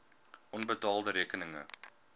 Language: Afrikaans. onbetaalde rekeninge